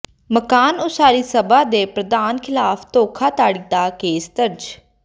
ਮਕਾਨ ਉਸਾਰੀ ਸਭਾ ਦੇ ਪ੍ਰਧਾਨ ਖ਼ਿਲਾਫ਼ ਧੋਖਾਧੜੀ ਦਾ ਕੇਸ ਦਰਜ